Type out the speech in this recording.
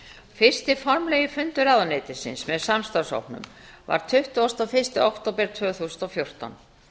fyrsti formlegri fundur ráðuneytisins með samstarfshópnum var tuttugasta og fyrsta október tvö þúsund og fjórtán